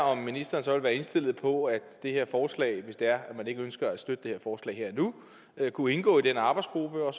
om ministeren så vil være indstillet på at det her forslag hvis det er man ikke ønsker at støtte det her og nu kunne indgå i den arbejdsgruppe og